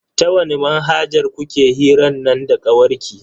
Ta wani manhajar kuke hiran nan da kawarki?